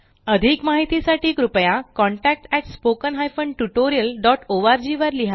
अधिक माहिती साठी कृपया contactspoken tutorialorg वर लिहा